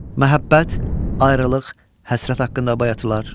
Məhəbbət, ayrılıq, həsrət haqqında bayatılar.